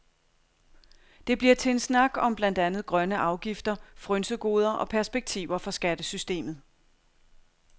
Det bliver til en snak om blandt andet grønne afgifter, frynsegoder og perspektiver for skattesystemet.